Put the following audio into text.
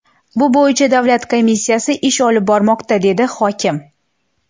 Bu bo‘yicha davlat komissiyasi ish olib bormoqda”, dedi hokim.